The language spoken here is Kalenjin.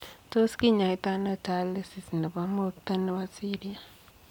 Tos kinyaitoo anoo Tylosis nepoo moktaa nepo siryaat?